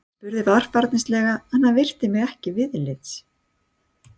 Ég spurði varfærnislega en hann virti mig ekki viðlits.